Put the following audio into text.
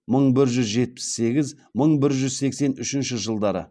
мың бір жүз жетпіс сегіз мың бір жүз сексен үшінші жылдары